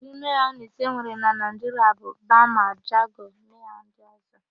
Ụdị mayonis enwere na Naịjiria bụ: bama, jago, mayo ndị ọ̀zọ́.